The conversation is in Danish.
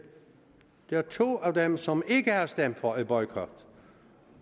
der to af dem som ikke har stemt for en boykot